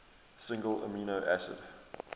single amino acid